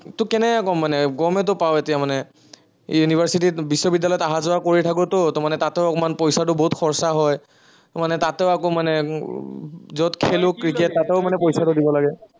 তোক কেনেকে কম মানে, গমেইতো পাৱ এতিয়া মানে, university ত বিশ্ববিদ্য়ালয়ত অহা-যোৱা কৰি থাকো তো, ত মানে তাতো অকনমান পইচাটো বহুত খৰচা হয়। মানে তাতো আকৌ মানে, যত খেলো ক্ৰিকেট তাতেও মানে পইচাটো দিব লাগে।